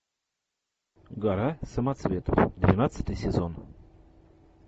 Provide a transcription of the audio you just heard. гора самоцветов двенадцатый сезон